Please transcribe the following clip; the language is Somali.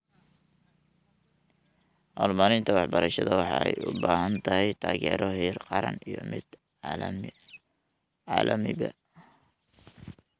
Horumarinta waxbarashada waxay u baahan tahay taageero heer qaran iyo mid caalamiba.